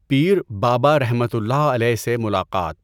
پیر بابا رحمۃ الله علیہ سے ملاقات